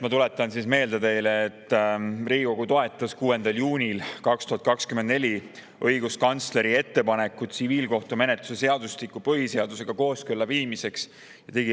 Ma tuletan meelde, et Riigikogu toetas 6. juunil 2024 õiguskantsleri ettepanekut viia tsiviilkohtumenetluse seadustik kooskõlla põhiseadusega.